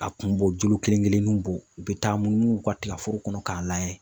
A kun b'o jolo kelen kelen ninw bɔ, u bɛ taa munumunu u ka tigaforo kɔnɔ k'a laj[?ɛ